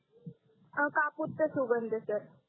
कापूरचा सुगंध सर